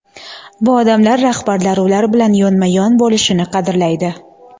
Bu odamlar rahbarlar ular bilan yonma-yon bo‘lishini qadrlaydi.